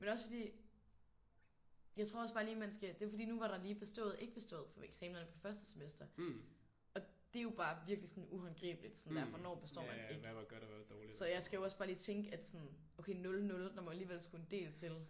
Men også fordi jeg tror også bare lige man skal det er fordi nu var der lige bestået ikke bestået på eksamenerne på første semester og det er jo bare virkelig sådan uhåndgribeligt sådan der hvornår består man ikke. Så jeg skal jo også bare lige tænke okay 00 det må der alligevel skulle en del til